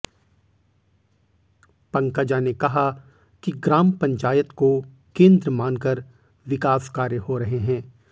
पंकजा ने कहा कि ग्राम पंचायत को केंद्र मान कर विकास कार्य हो रहे हैं